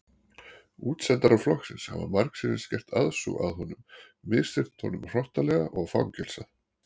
Útsendarar flokksins hafa margsinnis gert aðsúg að honum misþyrmt honum hrottalega og fangelsað.